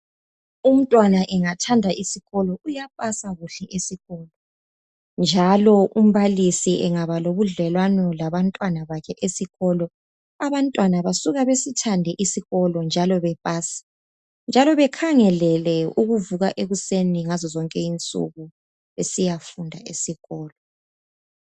Umntwana engathanda isikolo uyapasa kuhle esikolo, njalo umbalisi engaba lobudlelwano kuhle labantwana bakhe esikolo, abantwana basuka besithande isikolo njalo bepase njalo bekhangelele ukuvuka ekuseni ngazo zonke insuku besiyafunda esikolo.